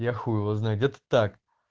яху его знает это так